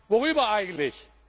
Worüber eigentlich?